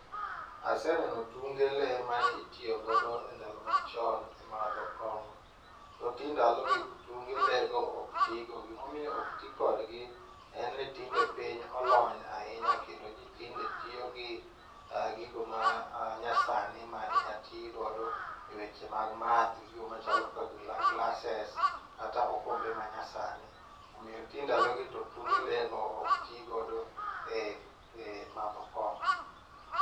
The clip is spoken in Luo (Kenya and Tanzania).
Aseneno tunge lee mane itiyogodo e ndalo machon e madho kong'o, to ti ndalogi tunge lee go ok tigo. Gimomiyo okti kodgi en ni tinde piny olony ahinya kendo ji tinde tiyogi gigo ma nyasani ma inya ti godo e weche mag math gigo machalo kaka glasses kata okombe manyasani. Omiyo ti ndalogi to tunge lee go ok tigodo e madho kong'o.